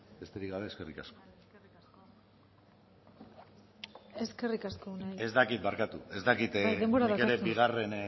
besterik gabe eskerrik asko eskerrik asko unai ez dakit barkatu ez dakit